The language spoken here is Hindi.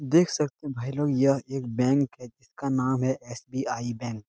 देख सकते हैं भाई लोग यह एक बैंक है जिसका नाम है एस.बी.आई. बैंक ।